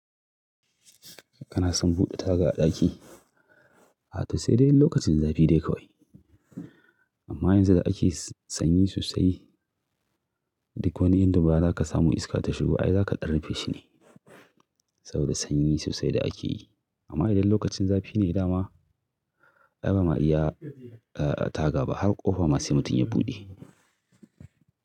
Kana son buɗe taga a ɗaki, a to sai dai in lokacin zafi dai kawai. Amma yanzu da ake sanyi sosai, duk wani inda ba za ka samu iska ta shigo ba, ai za ka ɗan rufe shi ne saboda sanyi sosai da ake yi. Amma idan lokacin zafi ne, dama ai ba ma iya taga ba har ƙofa ma sai mutum ya buɗe.